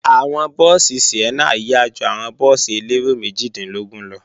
Àwọn búùsì Sienna yá ju àwọn búùsì elérò méjìdínlógún lọ